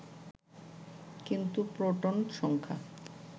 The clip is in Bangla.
কিন্তু প্রোটন সংখ্যা